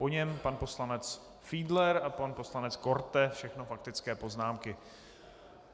Po něm pan poslanec Fiedler a pan poslanec Korte, všechno faktické poznámky.